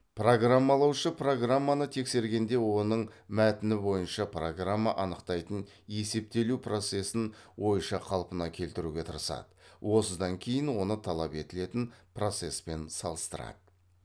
программалаушы программаны тексергенде оның мәтіні бойынша программа анықтайтын есептелу процесін ойша қалпына келтіруге тырысады осыдан кейін оны талап етілетін процеспен салыстырады